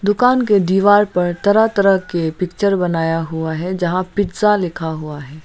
दुकान के दीवार पर तरह तरह के पिक्चर बनाया हुआ है जहां पिज़्ज़ा लिखा हुआ है।